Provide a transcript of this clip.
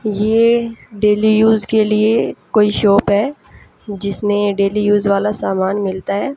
ये daily use के लिए कोई शॉप है जिसमें डेली युज वाला सामान मिलता है।